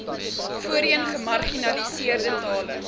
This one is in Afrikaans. voorheen gemarginaliseerde tale